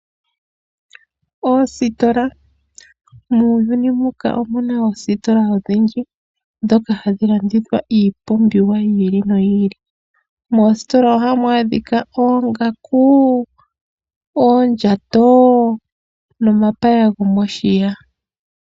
Oositola, muuyuni muka omuna oositola odhindji ndhoka hadhi landitha iipumbiwa yi ili noyi ili. Moositola ohamu adhika oongaku, oondjato nomapaya gomoshiya.